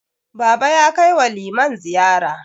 Baba ya kai wa liman ziyara.